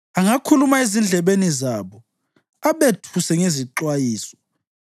angakhuluma ezindlebeni zabo, abethuse ngezixwayiso,